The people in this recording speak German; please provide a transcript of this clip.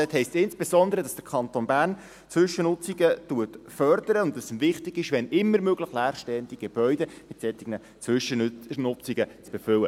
Dort heisst es insbesondere, dass der Kanton Bern Zwischennutzungen fördert und dass es ihm wichtig ist, leerstehende Gebäude – wenn immer möglich – mit solchen Zwischennutzungen zu befüllen.